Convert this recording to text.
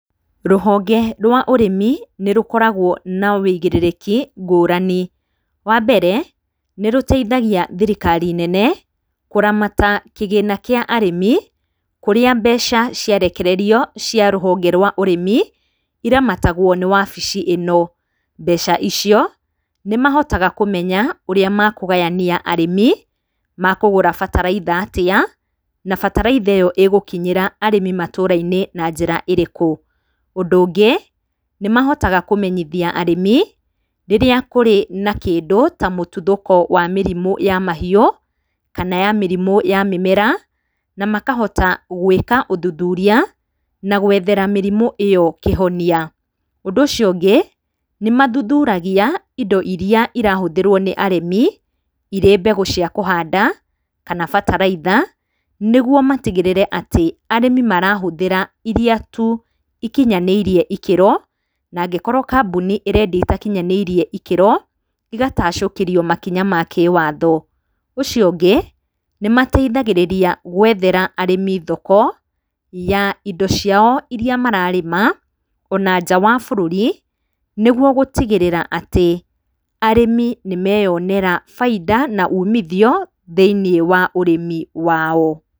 Rũhonge rwa ũrĩmi nĩ rũkoragwo na wĩigĩrĩriki ngũrani. Wambere nĩ rũteithagia thirikari nene kũramata kĩgĩna kĩa arĩmi kũrĩa mbeca ciarekererio cia rũhonge rwa ũrĩmi iramatagwo nĩ wabici ĩno. Mbeca icio nĩ mahotaga kũmenya ũrĩa mekũgayania arĩmi makũgũra bataraitha atĩa na bataraitha ĩo ĩgũkinyĩra arĩmi matũra- inĩ na njĩra ĩrĩkũ. ũndũ ũngĩ nĩ mahotaga kũmenyithia arĩmi rĩrĩa kũrĩ na kĩndũ ta mũtuthoko wa mahiũ kana ya mĩrimũ ya mĩmera na makahota gwĩka ũthuthuria na gwethera mĩrimũ ĩyo kĩhonia. Ũndũ ũcio ũngĩ nĩ mathuthuragia indo irĩa irahũthĩrwo nĩ arĩmi irĩ mbegũ cia kũhanda kana bataraitha nĩguo matigĩrĩre atĩ arĩmi marahũthĩra irĩa tu ikinyanĩirie ikĩrwo na angĩkorwo kambuni ĩrendia ĩtakinyanĩirio ikĩrwo igatacũkĩrio makinya ma kĩwatho. Ũndũ ũcio ũngĩ nĩ mateithagĩrĩria gwethera arĩmi thoko ya indo ciao irĩa mararĩma ona nja wa bũrũri nĩguo gũtigĩrĩra atĩ arĩmi nĩmeyonera bainda na umithio thĩiniĩ wa ũrĩmi wao.